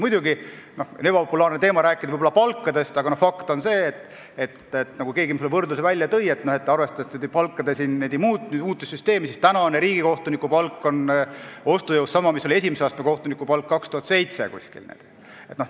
Muidugi on ebapopulaarne rääkida palkadest, aga fakt on see, et arvestades muutunud süsteemi, on praegune riigikohtuniku palk ostujõu mõttes sama, mis oli esimese astme kohtuniku palk umbes aastal 2007, nagu keegi kusagil selle võrdluse tõi.